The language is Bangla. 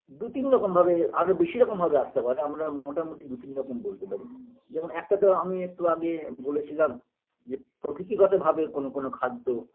দু তিন রকম ভাবে আরও বেশি রকম ভাবে আসতে পারে আমরা মোটামুটি দু তিন রকম বলতে পারি যেমন একটা তো আমি একটু আগে বলেছিলাম যে প্রকৃতিগতভাবে কোনো কোনো খাদ্য